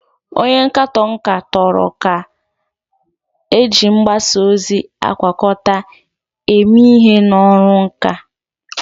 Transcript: Onye nkatọ nka toro ka eji mgbasa ozi agwakọta eme ihe n'ọrụ nka.